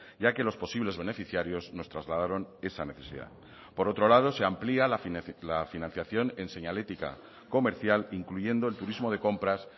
ya que los posibles beneficiarios nos trasladaron esa necesidad por otro lado se amplía la financiación en señalítica comercial incluyendo el turismo de compras